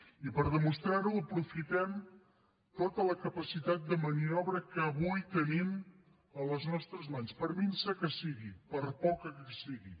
i per demostrar ho aprofitem tota la capacitat de maniobra que avui tenim a les nostres mans per minsa que sigui per poca que sigui